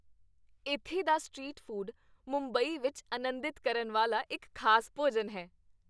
ਇੱਥੇ ਦਾ street food Mumbai ਵਿੱਚ ਅਨੰਦਿਤ ਕਰਨ ਵਾਲਾ ਇੱਕ ਖ਼ਾਸ ਭੋਜਨ ਹੈ।